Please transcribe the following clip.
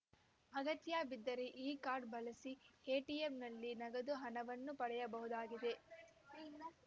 ಅಗತ್ಯ ಬಿದ್ದರೆ ಈ ಕಾರ್ಡ್ ಬಳಸಿ ಎಟಿಎಂನಲ್ಲಿ ನಗದು ಹಣವನ್ನೂ ಪಡೆಯಬಹುದಾಗಿದೆ